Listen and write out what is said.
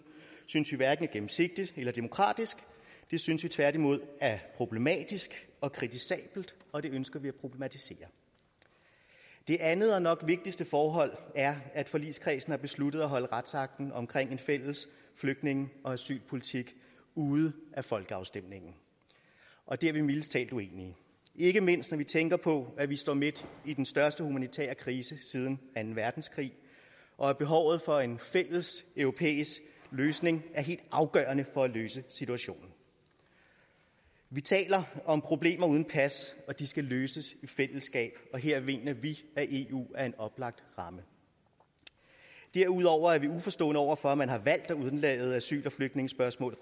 synes vi hverken er gennemsigtigt eller demokratisk det synes vi tværtimod er problematisk og kritisabelt og det ønsker vi at problematisere det andet og nok vigtigste forhold er at forligskredsen har besluttet at holde retsakten om en fælles flygtninge og asylpolitik ude af folkeafstemningen og det er vi mildest talt uenige i ikke mindst når vi tænker på at vi står midt i den største humanitære krise siden anden verdenskrig og at behovet for en fælles europæisk løsning er helt afgørende for at løse situationen vi taler om problemer uden pas og de problemer skal løses i fællesskab og her mener vi at eu er en oplagt ramme derudover er vi uforstående over for at man har valgt at undlade asyl og flygtningespørgsmålet